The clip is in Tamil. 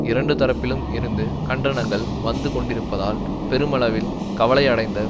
இரண்டு தரப்பிலும் இருந்து கண்டனங்கள் வந்து கொண்டிருப்பதால் பெருமளவில் கவலையடைந்த